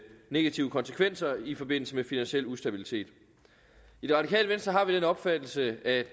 negative konsekvenser i forbindelse med finansiel ustabilitet i det radikale venstre har vi den opfattelse at